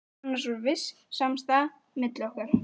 Annars var viss samstaða milli okkar